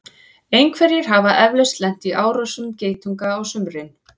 einhverjir hafa eflaust lent í árásum geitunga á sumrin